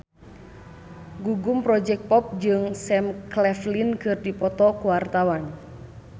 Gugum Project Pop jeung Sam Claflin keur dipoto ku wartawan